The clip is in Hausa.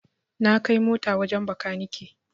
Na kai mota wajen makani